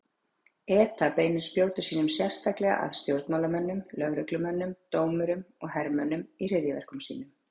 ETA beinir spjótum sínum sérstaklega að stjórnmálamönnum, lögreglumönnum, dómurum og hermönnum í hryðjuverkum sínum.